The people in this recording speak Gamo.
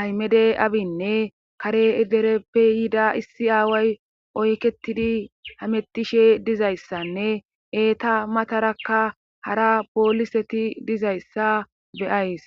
aymede abinne kare edereppe yida issi aaway oyketidi hamettishe dizayssanne eeta matarakka hara pooliseti dizayssa beyays.